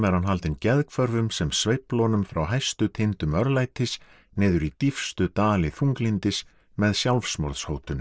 haldinn sem sveifla honum frá hæstu tindum örlætis niður í dýpstu dali þunglyndis með